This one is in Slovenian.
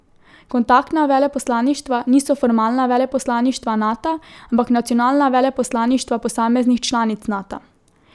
Kontaktna veleposlaništva niso formalna veleposlaništva Nata, ampak nacionalna veleposlaništva posameznih članic Nata.